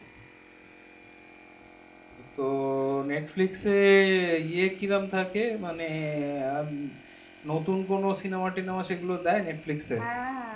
তো netflix এ কিরম থাকে মানে নতুন কোনো cinema টিনেমা সেগুলো দেয় netflix এ